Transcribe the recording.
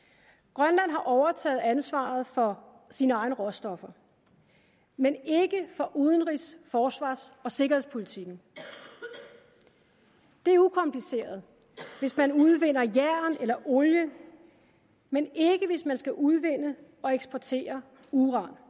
grønland har overtaget ansvaret for sine egne råstoffer men ikke for udenrigs forsvars og sikkerhedspolitikken det er ukompliceret hvis man udvinder jern eller olie men ikke hvis man skal udvinde og eksportere uran